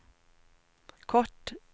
kort